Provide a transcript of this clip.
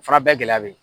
Fana bɛɛ gɛlɛya be ye